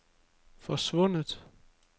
forsvundet